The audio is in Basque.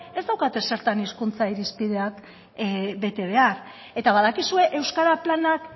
ez daukate zertan hizkuntza irizpideak bete behar eta badakizue euskara planak